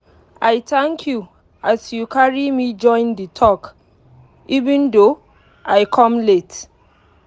i thank you as you carry me join the talk even though i come late.